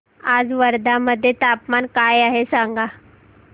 आज वर्धा मध्ये तापमान काय आहे सांगा